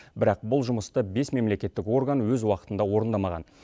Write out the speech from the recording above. бірақ бұл жұмысты бес мемлекеттік орган өз уақытында орындамаған